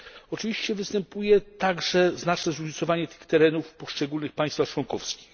Oczywiście występuje także znaczne zróżnicowanie tych terenów w poszczególnych państwach członkowskich.